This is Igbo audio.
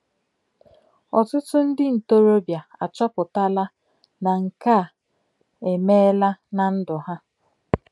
Ọtụtụ ndị ntorobịa achọpụtala na nke a e meela ná ndụ ha.